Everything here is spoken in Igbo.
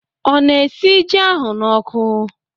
O na-esi ji ahụ na oku?